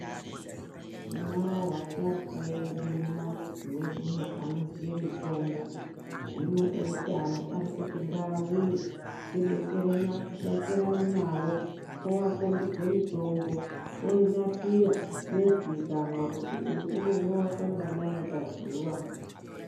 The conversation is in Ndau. Tinavo vasharuka vedu mumamuzi medumwo anoziye mitombo hino eutano arikuti ngaauye tidetserane nawo owakhombidze mitombo oinasira yoziikanwa kuti uyu unomwiwa kanganai pazuwa.